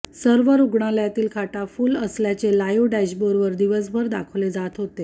सर्व रुग्णालयातील खाटा फुल्ल असल्याचे लाइव्ह डॅशबोर्डवर दिवसभर दाखवले जात होते